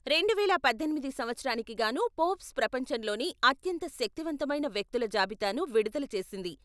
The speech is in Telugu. రెండువేల పద్దెనిమిది సంవత్సరానికి గానూ ఫోర్బ్స్ ప్రపంచంలోనే అత్యంత శక్తిమంతమైన వ్యక్తుల జాబితాను విడుదల చేసింది.